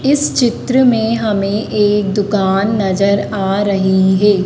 इस चित्र में हमें एक दुकान नजर आ रहीं हैं।